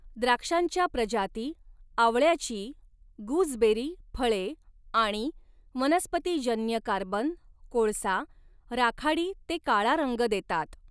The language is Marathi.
द्राक्षांच्या प्रजाती, आवळ्याची गूजबेरी फळे आणि वनस्पतीजन्य कार्बन कोळसा राखाडी ते काळा रंग देतात.